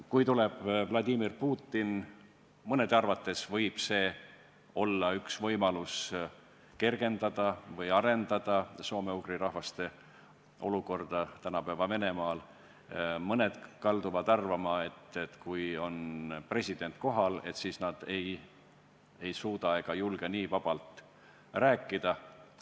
Kui tuleb ka Vladimir Putin, siis mõne arvates võib see olla üks võimalus kergendada või arendada soome-ugri rahvaste olukorda tänapäeva Venemaal, ent mõned kalduvad arvama, et kui president on kohal, siis ei suudeta ega julgeta vabalt rääkida.